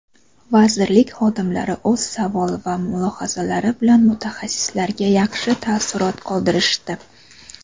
vazirlik xodimlari o‘z savol va mulohazalari bilan mutaxassislarga yaxshi taassurot qoldirishdi.